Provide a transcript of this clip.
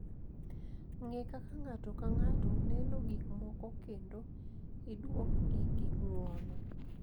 Ng’e kaka ng’ato ka ng’ato neno gik moko kendo iduokgi gi ng’uono.